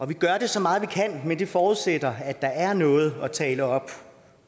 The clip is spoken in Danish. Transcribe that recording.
vi gør det så meget vi kan men det forudsætter at der er noget at tale op